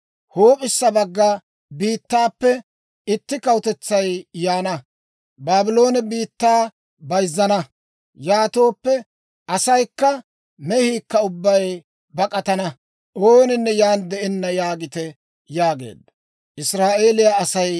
Huup'issa bagga biittaappe itti kawutetsay yaana; Baabloone biittaa bayzzana. Yaatooppe asaykka mehiikka ubbay bak'atana; ooninne yaan de'enna› yaagite» yaageedda.